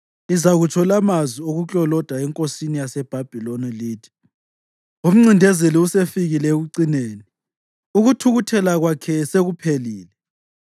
lizakutsho la amazwi okukloloda enkosini yaseBhabhiloni lithi: Umncindezeli usefikile ekucineni, ukuthukuthela kwakhe sekuphelile!